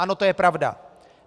Ano, to je pravda.